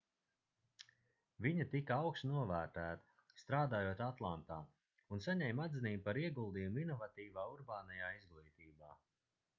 viņa tika augstu novērtēta strādājot atlantā un saņēma atzinību par ieguldījumu inovatīvā urbānajā izglītībā